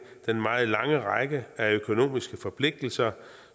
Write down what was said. den meget lange række af økonomiske forpligtelser